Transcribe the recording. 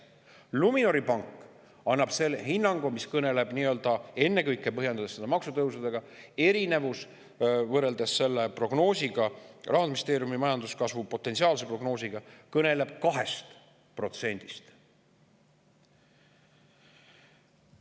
Luminori pank annab hinnangu, mis kõneleb 2%-st, põhjendades erinevust võrreldes Rahandusministeeriumi potentsiaalse majanduskasvu prognoosiga ennekõike maksutõusudega.